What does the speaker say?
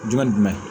Jumɛn ni jumɛn